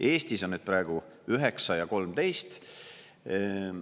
Eestis on need praegu 9% ja 13%.